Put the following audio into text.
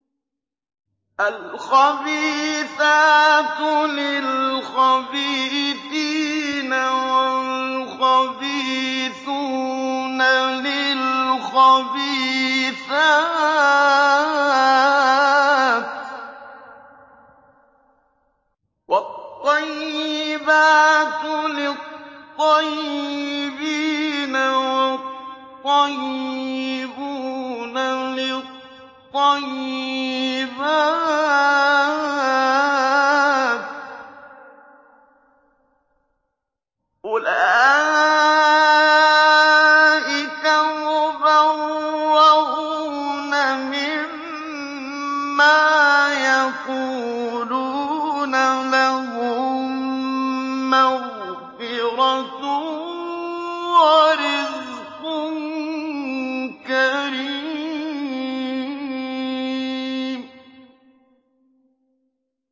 الْخَبِيثَاتُ لِلْخَبِيثِينَ وَالْخَبِيثُونَ لِلْخَبِيثَاتِ ۖ وَالطَّيِّبَاتُ لِلطَّيِّبِينَ وَالطَّيِّبُونَ لِلطَّيِّبَاتِ ۚ أُولَٰئِكَ مُبَرَّءُونَ مِمَّا يَقُولُونَ ۖ لَهُم مَّغْفِرَةٌ وَرِزْقٌ كَرِيمٌ